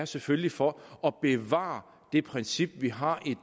selvfølgelig for at bevare det princip vi har i